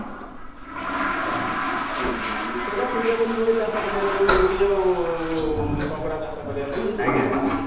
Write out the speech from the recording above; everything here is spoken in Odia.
ହଁ ହଁ ସେଟା suitable ରୁହେ ଚାଷ କରିବା ପାଇଁ ଚିଙ୍ଗୁଡ଼ି ଆଉ କଙ୍କଡା ଚାଷ କରିବା ପାଇଁ suitable ରୁହେ